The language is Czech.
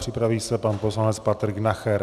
Připraví se pan poslanec Patrik Nacher.